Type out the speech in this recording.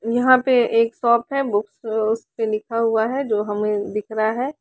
यहां पे एक शॉप है बुक्स उस पे लिखा हुआ है जो हमें दिख रहा है।